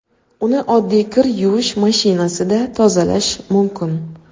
Uni oddiy kir yuvish mashinasida tozalash mumkin.